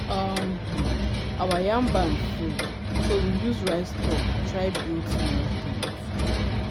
um um our yam barn full so we use rice stalk try build small ten t